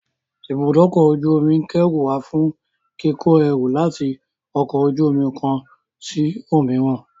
Ibùdókọ̀-ojú omi ìkẹ́rù wà fún kíko ẹrù láti ọkọ̀-ojú-omi kán sí òmíràn.